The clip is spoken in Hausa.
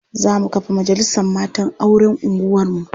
Za mu kafa majalisar matan auren unguwarmu.